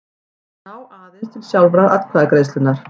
ná aðeins til sjálfrar atkvæðagreiðslunnar.